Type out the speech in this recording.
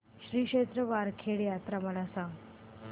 श्री क्षेत्र वरखेड यात्रा मला सांग